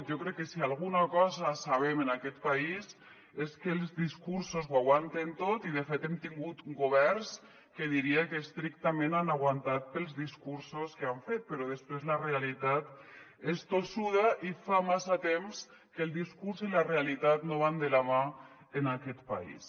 jo crec que si alguna cosa sabem en aquest país és que els discursos ho aguanten tot i de fet hem tingut governs que diria que estrictament han aguantat pels discursos que han fet però després la realitat és tossuda i fa massa temps que el discurs i la realitat no van de la mà en aquest país